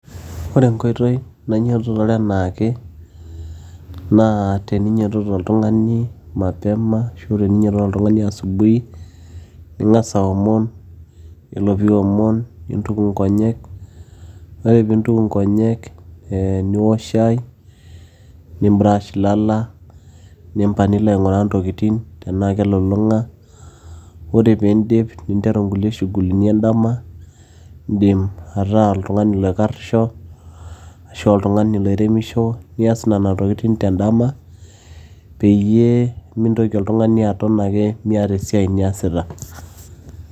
ore enkoitoi nainyototore enaake naa teninyiototo oltung'ani mapema ashu teninyiototo oltung'ani asubuhi ning'as aomon yiolo piiwomon nintuku inkonyek ore piintuku inkonyek ee niwok shai nim brush ilala nimpang nilo aing'uraa intokitin tenaa kelulung'a ore piindip ninteru inkulie shughulini endama indim ataa oltung'ani loikarrisho ashu oltung'ani loiremisho nias nena tokitin tendama peyie mintoki oltung'ani aton ake miata esiai niasita.